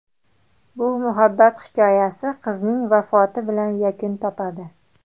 Bu muhabbat hikoyasi qizning vafoti bilan yakun topadi.